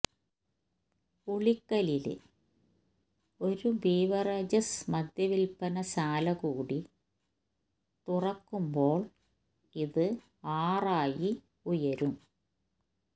ഉളിക്കലില് ഒരു ബീവറേജസ് മദ്യവില്പ്പന ശാലകൂടി തുറക്കുമ്പോള് ഇത് ആറായി ഉയരും